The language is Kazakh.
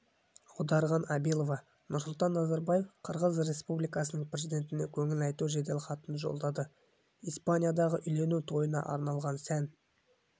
аударған абилова нұрсұлтан назарбаев қырғыз республикасының президентіне көңіл айту жеделхатын жолдады испаниядағы үйлену тойына арналған сән